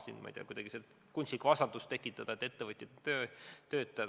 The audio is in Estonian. Sellel pinnal ei ole õige kuidagi kunstlikku vastandust tekitada, et ettevõtjad ja töötajad.